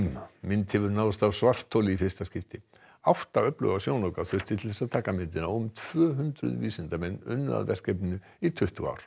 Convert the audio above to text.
mynd hefur náðst af svartholi í fyrsta skipti átta öfluga sjónauka þurfti til að taka myndina og um tvö hundruð vísindamenn unnu að verkefninu í tuttugu ár